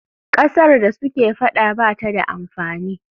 Ƙasar da suke faɗa ba ta da amfani.